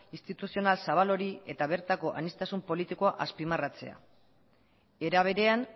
instituzional zabal hori eta bertako aniztasun politikoa azpimarratzea era berean